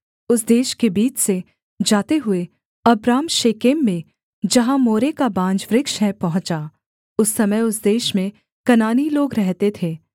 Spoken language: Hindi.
उस देश के बीच से जाते हुए अब्राम शेकेम में जहाँ मोरे का बांज वृक्ष है पहुँचा उस समय उस देश में कनानी लोग रहते थे